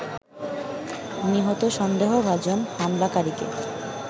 নিহত সন্দেহভাজন হামলাকারীকে